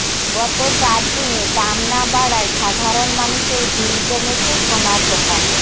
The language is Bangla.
গত চার দিনে দাম না বাড়ায় সাধারণ মানুষের ভিড় জমেছে সোনার দোকানে